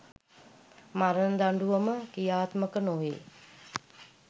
මරණ දඬුවම ක්‍රියාත්මක නොවේ